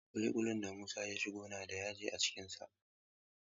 Ƙuli ƙulin da Musa ya shigo na da yashi a cikin sa.